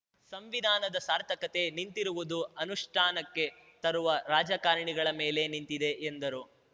ಸಂವಿಧಾನದ ಸಾರ್ಥಕತೆ ನಿಂತಿರುವುದು ಅನುಷ್ಠಾನಕ್ಕೆ ತರುವ ರಾಜಕಾರಣಿಗಳ ಮೇಲೆ ನಿಂತಿದೆ ಎಂದರು